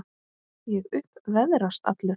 Ég upp veðrast allur.